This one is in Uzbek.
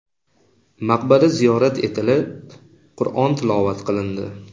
Maqbara ziyorat etilib, Qur’on tilovat qilindi.